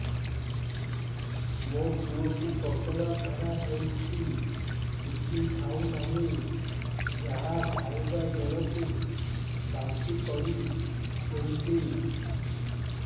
ମୋ ପୁଅ କୁ ପତଳା ଝାଡ଼ା ହେଉଛି କିଛି ଖାଉ ନାହିଁ ଯାହା ଖାଇଲାବେଳକୁ ବାନ୍ତି କରି ଦେଉଛି